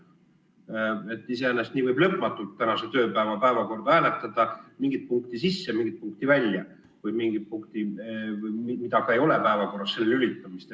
Iseenesest nii võib selle nädala päevakorda hääletada lõpmatult: mingit punkti sisse, mingit punkti välja või millegi, mida ei ole päevakorras, sinna lülitamist.